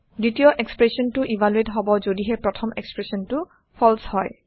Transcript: দ্বিতীয় এক্সপ্ৰেচনটো ইভালুৱেট হব যদিহে প্ৰথম এক্সপ্ৰেচনটো ফালছে হয়